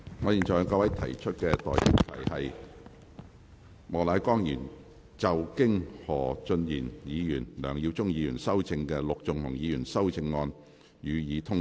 我現在向各位提出的待議議題是：莫乃光議員就經何俊賢議員及梁耀忠議員修正的陸頌雄議員議案動議的修正案，予以通過。